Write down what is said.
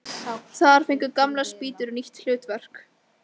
Þar fengu gamlar spýtur nýtt hlutverk.